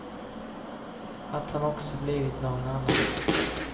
Att han också blivit någon annan.